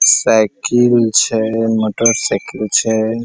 Cycle छै motorcycle छै।